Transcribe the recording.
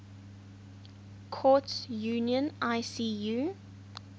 courts union icu